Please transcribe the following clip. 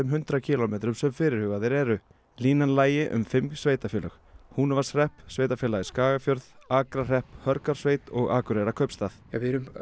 hundrað kílómetrum sem fyrirhugaðir eru línan lægi um fimm sveitarfélög Sveitarfélagið Skagafjörð Akrahrepp Hörgársveit og Akureyrarkaupstað við erum